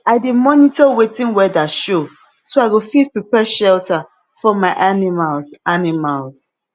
i dey monitor wetin weather show so i go fit prepare shelter for my animals animals